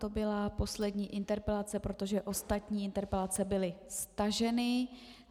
To byla poslední interpelace, protože ostatní interpelace byly staženy.